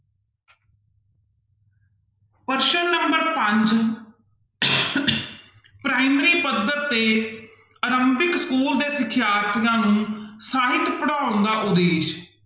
ਪ੍ਰਸ਼ਨ number ਪੰਜ primary ਪੱਧਰ ਤੇ ਅਰੰਭਿਕ ਸਕੂਲ ਦੇ ਸਿਖਿਆਰਥੀਆਂ ਨੂੰ ਸਾਹਿਤ ਪੜ੍ਹਾਉਣ ਦਾ ਉਦੇਸ਼